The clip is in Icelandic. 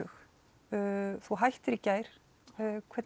þú hættir í gær hvernig